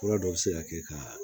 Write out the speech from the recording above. Fura dɔ bi se ka kɛ ka